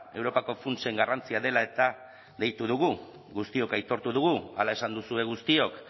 europako funtsen garrantzia dela eta deitu dugu guztiok aitortu dugu hala esan duzue guztiok